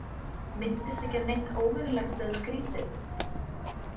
Minntist ekki á neitt óvenjulegt eða skrítið?